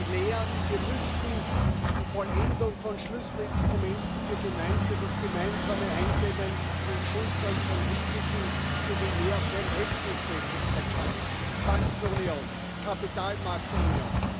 Die Lehren Wir müssen die Vollendung von Schlüsselinstrumenten für das gemeinsame Eindämmen und Schultern von Risiken sowie mehr Verhältnismäßigkeit schaffen Bankenunion, Kapitalmarktunion.